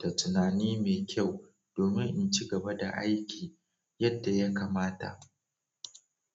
da tunani mai kyau domin in ci gaba da aiki yadda ya kamata.